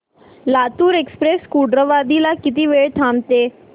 Latur express Kurduwadi ला किती वेळ थांबते